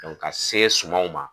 Ka se sumaw ma.